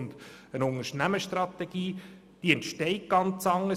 Eine Unternehmensstrategie entsteht ganz anders.